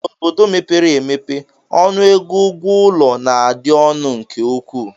N'obodo mepere emepe, ọnụego ụgwọ ụlọ na-adị ọnụ nke ukwuu